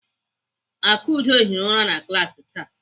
Akudo hiri ụra na klaasị taa.